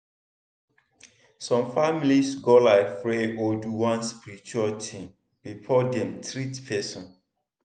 some families go like pray or do one spiritual tin before dem treat person.